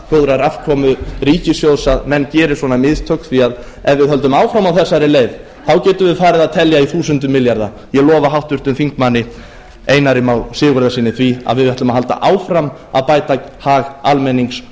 góðrar afkomu ríkissjóðs að menn geri svona mistök því að ef við höldum áfram á þessari leið getum við farið að telja í þúsundum milljarða ég lofa háttvirtur þingmaður einari má sigurðarsyni því að við ætlum að halda áfram að bæta hag almennings